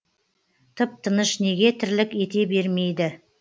тып тыныш неге тірлік ете бермейді